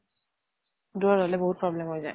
দুৰত হʼলে বহুত problem হৈ যায়।